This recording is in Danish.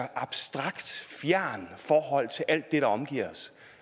abstrakt fjernt forhold til alt det der omgiver os